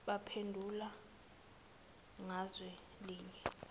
baphendule ngazwi linye